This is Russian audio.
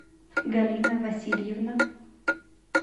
галина васильевна